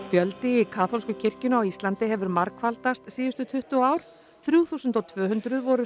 fjöldi í kaþólsku kirkjunni á Íslandi hefur margfaldast síðustu tuttugu ár þrjú þúsund og tvö hundruð voru